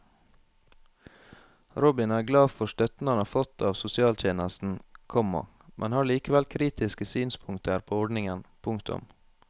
Robin er glad for støtten han har fått av sosialtjenesten, komma men har likevel kritiske synspunkter på ordningen. punktum